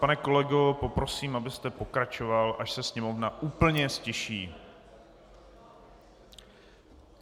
Pane kolego, poprosím, abyste pokračoval, až se Sněmovna úplně ztiší.